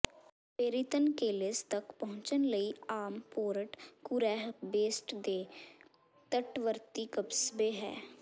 ਪੇਰੀਤਨ ਕੇਸੀਲ ਤਕ ਪਹੁੰਚਣ ਲਈ ਆਮ ਪੋਰਟ ਕੁਰੈਹ ਬੇਸਟ ਦੇ ਤਟਵਰਤੀ ਕਸਬੇ ਹੈ